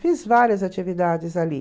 Fiz várias atividades ali.